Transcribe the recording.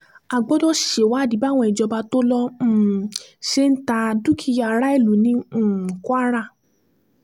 a gbọ́dọ̀ ṣèwádìí báwọn ìjọba tó lọ um ṣe ta dúkìá aráìlú ní um kwara